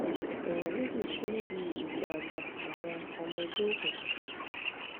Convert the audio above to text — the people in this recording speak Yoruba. èèyàn méjì kú níbi ìjà àgbà àwọn ọmọ ẹgbẹ́ òkùnkùn